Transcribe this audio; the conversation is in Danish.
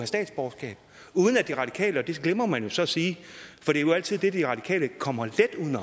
statsborgerskab uden at de radikale tænker på det glemmer man så at sige for det er jo altid det de radikale kommer let uden